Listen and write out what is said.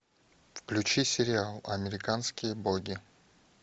включи сериал американские боги